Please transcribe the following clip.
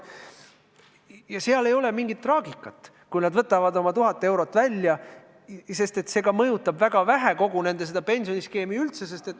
Ja selles ei ole mingit traagikat, kui nad võtavad oma tuhat eurot välja, sest see mõjutab väga vähe nende tulevast pensioni.